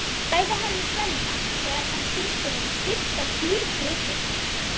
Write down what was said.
sagði hann við Svenna þegar hann sýndi honum fyrst dýrgripina.